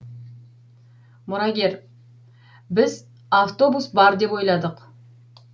мұрагер біз автобус бар деп ойладық